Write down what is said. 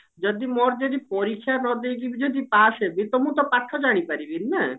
ଯଦି ମୋର ଯଦି ପରୀକ୍ଷା ନଦେଇକି ବି ଯଦି pass ହେବି ତ ମୁଁ ତ ପାଠ ଜାଣିପାରିବିନି ନା